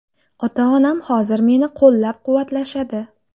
Ota-onam hozir meni qo‘llab-quvvatlashadi.